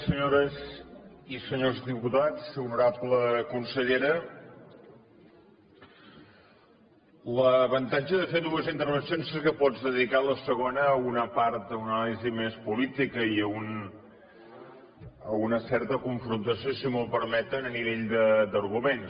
senyores i senyors diputats honorable consellera l’avantatge de fer dues intervencions és que pots dedicar la segona a una part a una anàlisi més política i a una certa confrontació si m’ho permeten a nivell d’arguments